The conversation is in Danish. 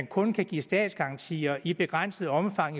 kun kan gives statsgarantier i begrænset omfang